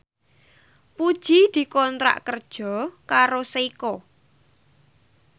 Puji dikontrak kerja karo Seiko